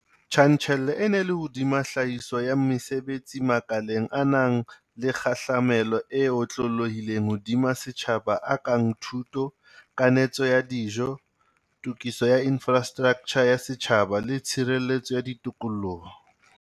Tjantjello e ne e le hodima tlhahiso ya mesebetsi makaleng a nang le kgahlamelo e otlolohileng hodima setjhaba a kang thuto, kanetso ya dijo, tokiso ya infrastraktjha ya setjhaba le tshireletso ya tikoloho.